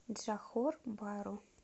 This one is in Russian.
джохор бару